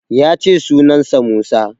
Ya ce sunan sa Musa